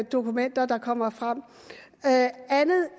dokumenter der kommer frem andet